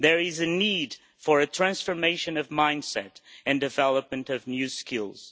There is a need for a transformation of mindset and the development of new skills.